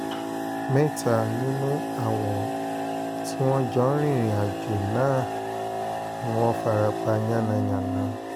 mẹ́ta nínú àwọn tí wọ́n jọ ń rìnrìn-àjò náà ni wọ́n fara pa yánnayànna